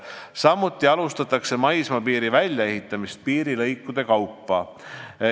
Samuti alustatakse maismaapiiri väljaehitamist piirilõikude kaupa.